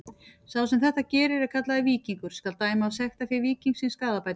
Sá sem þetta gerir er kallaður víkingur: skal dæma af sektarfé víkingsins skaðabætur.